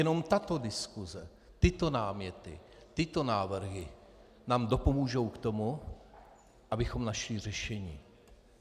Jenom tato diskuse, tyto náměty, tyto návrhy nám dopomohou k tomu, abychom našli řešení.